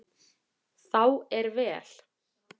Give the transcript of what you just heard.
Þá er vel.